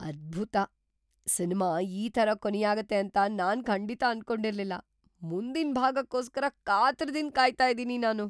ಅದ್ಭುತ! ಸಿನ್ಮಾ‌ ಈ ಥರ ಕೊನೆಯಾಗತ್ತೆ ಅಂತ ನಾನ್‌ ಖಂಡಿತ ಅನ್ಕೊಂಡಿರ್ಲಿಲ್ಲ. ಮುಂದಿನ್ ಭಾಗಕ್ಕೋಸ್ಕರ ಕಾತರದಿಂದ ಕಾಯ್ತಾ ಇದೀನಿ ನಾನು.